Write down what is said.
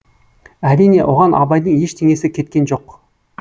әрине оған абайдың ештеңесі кеткен жоқ